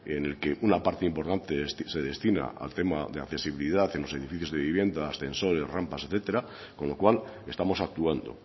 en el que una parte importante se destina al tema de accesibilidad en los edificios de vivienda ascensor y rampas etcétera con lo cual estamos actuando